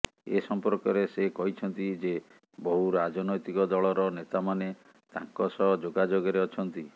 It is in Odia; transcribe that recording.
ଏ ସଂପର୍କରେ ସେ କହିଛନ୍ତି ଯେ ବହୁ ରାଜନୈତିକଦଳର ନେତାମାନେ ତାଙ୍କ ସହ ଯୋଗାଯୋଗରେ ଅଛନ୍ତି